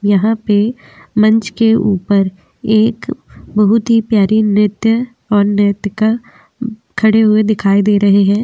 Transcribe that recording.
यहाँ पे मंच के ऊपर एक बोहुत ही प्यारी नृत्य और नृत्यिका खड़े हुए दिखाई दे रहे हैं।